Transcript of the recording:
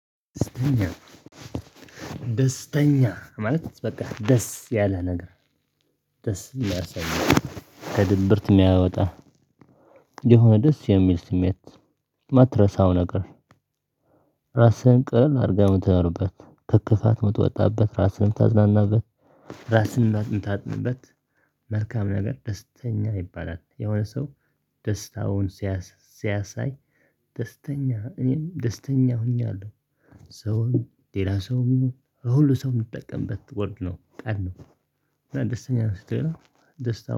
ደስተኛ ማለት በቃ ደስ ያለ ነገር ደስ የሚያሰኝ ከድብርት የሚያወጣ የሆነ ደስ የሚል ስሜት። የማትረሳው ነገር ራስህን ቀና አድርገህ የምትኖርበት ከክፋት የምትወጣበት ራስህን የምታዝናናበት። ራስህን የምታዝናናበት መልካም ነገር ደስተኛ ይባላል የሆነ ሰው። ደስታውን ሲያሳይ ደስተኛ እኔም ደስተኛ ሆኛለሁ። ሰውም ሌላ ሰውም ይሁን ሁሉም ሰው የሚጠቀምበት ወርድ ነው ቃል ነው። እና ደስተኛ ነህ ስትለው ደስታው